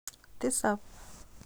Tisap